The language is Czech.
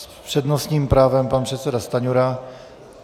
S přednostním právem pan předseda Stanjura.